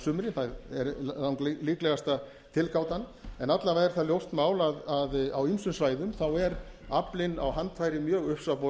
sumrin það er langlíklegasta tilgátan alla vega er það ljóst mál að á ýmsum svæðum er aflinn á handfæri mjög